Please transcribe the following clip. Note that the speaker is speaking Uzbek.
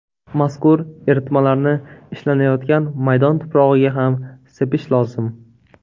Mazkur eritmalarni ishlanayotgan maydon tuprog‘iga ham sepish lozim.